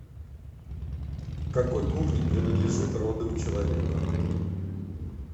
к какой кухне принадлежит роды у человека